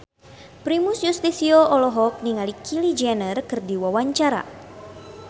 Primus Yustisio olohok ningali Kylie Jenner keur diwawancara